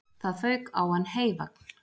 Það fauk á hann heyvagn